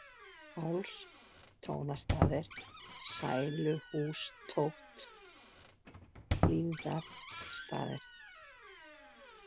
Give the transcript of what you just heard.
Háls, Tónastaðir, Sæluhústótt, Hlífarstaðir